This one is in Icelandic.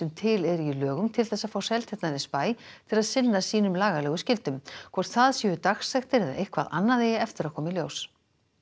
til eru í lögum til þess að fá Seltjarnarnesbæ til að sinna sínum lagalegu skyldum hvort það séu dagsektir eða eitthvað annað eigi eftir að koma í ljós